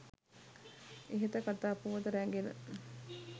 ඉහත කතා පුවත රැ‍ඟෙන